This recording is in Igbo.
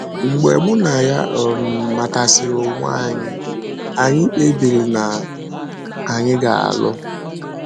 Mgbe mụ na ya um matasịrị onwe anyị, anyị kpebiri na anyị ga - alụ.